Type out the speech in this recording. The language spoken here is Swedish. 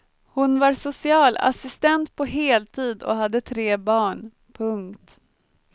Hon var socialassistent på heltid och hade tre barn. punkt